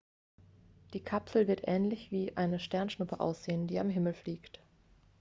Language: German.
die kapsel wird ähnlich wie eine sternschuppe aussehen die am himmel fliegt